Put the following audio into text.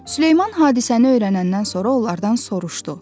Süleyman hadisəni öyrənəndən sonra onlardan soruşdu.